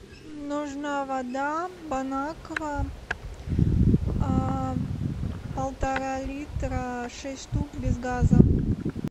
нужна вода бонаква полтора литра шесть штук без газа